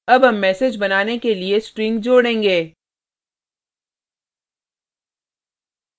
add हम message बनाने के लिए strings जोडेंगे